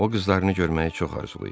O qızlarını görməyi çox arzulayır.